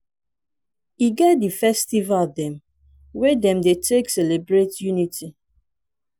e get di festival dem wey dem dey take celebrate unity.